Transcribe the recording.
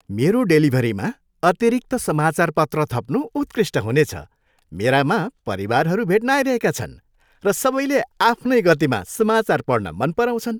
मेरो डेलिभरीमा अतिरिक्त समाचारपत्र थप्नु उत्कृष्ट हुनेछ! मेरामा परिवारहरू भेट्न आइरहेका छन्, र सबैले आफ्नै गतिमा समाचार पढ्न मन पराउँछन्।